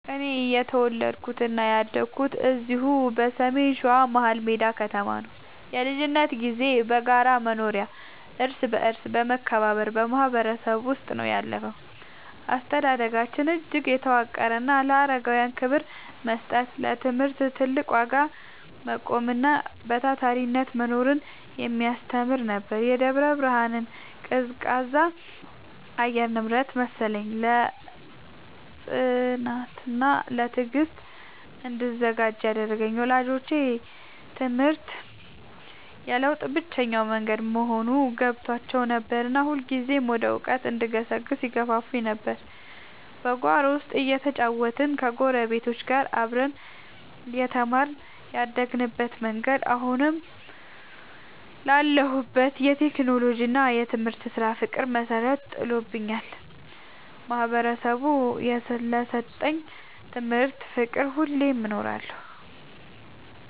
እኔ የተወለድኩትና ያደግኩት እዚሁ በሰሜን ሸዋ፣ መሀልሜዳ ከተማ ነው። የልጅነት ጊዜዬ በጋራ መኖሪያና እርስ በርስ በመከባበር ማህበረሰብ ውስጥ ነው ያለፈው። አስተዳደጋችን እጅግ የተዋቀረና ለአረጋውያን ክብር መስጠትን፣ ለትምህርት ትልቅ ዋጋ መቆምንና በታታሪነት መኖርን የሚያስተምር ነበር። የደብረ ብርሃን ቀዝቃዛ የአየር ንብረት መሰለኝ፣ ለጽናትና ለትዕግስት እንድዘጋጅ ያደረገኝ። ወላጆቼ ትምህርት የለውጥ ብቸኛው መንገድ መሆኑን ገብቷቸው ነበርና ሁልጊዜም ወደ እውቀት እንድገሰግስ ይገፋፉኝ ነበር። በጓሮ ውስጥ እየተጫወትንና ከጎረቤቶች ጋር አብረን እየተማርን ያደግንበት መንገድ፣ አሁን ላለሁበት የቴክኖሎጂና የትምህርት ስራ ፍቅር መሰረት ጥሎልኛል። ማህበረሰቡ ለሰጠኝ ትምህርትና ፍቅር ሁሌም እኖራለሁ።